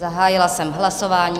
Zahájila jsem hlasování.